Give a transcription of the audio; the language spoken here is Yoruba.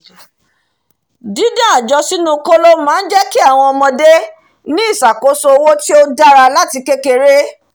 dídá àjọ sínú kóló máá jẹ́kí àwọn ọmọdé ní ìsàkóso owó tí ó dára láti kékeré